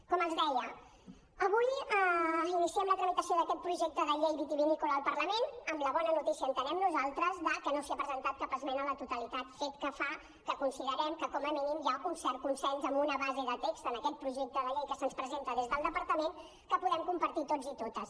com els deia avui iniciem la tramitació d’aquest projecte de llei vitivinícola al parlament amb la bona notícia entenem nosaltres de que no s’hi ha presentat cap esmena a la totalitat fet que fa que considerem que com a mínim hi ha un cert consens amb una base de text en aquest projecte de llei que se’ns presenta des del departament que podem compartir tots i totes